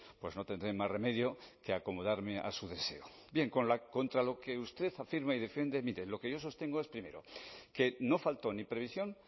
pues no tendré más remedio que acomodarme a su deseo bien contra lo que usted afirma y defiende mire lo que yo sostengo es primero que no faltó ni previsión